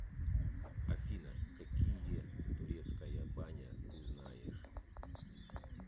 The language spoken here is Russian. афина какие турецкая баня ты знаешь